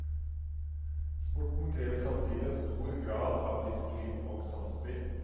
Sporten krever samtidig en stor grad av disiplin og samspill.